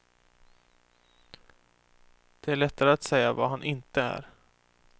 Det är lättare att säga vad han inte är.